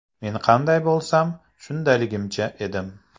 Men qanday bo‘lsam, shundayligimcha edim.